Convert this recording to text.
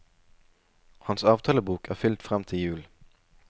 Hans avtalebok er fylt frem til jul.